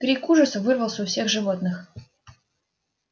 крик ужаса вырвался у всех животных